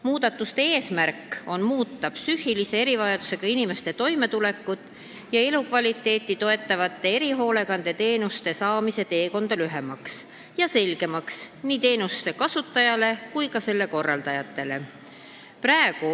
Muudatuste eesmärk on muuta psüühilise erivajadusega inimeste toimetulekut ja elukvaliteeti toetavate erihoolekandeteenuste saamise teekonda lühemaks ja selgemaks teenuste kasutajatele ja ka korraldajatele.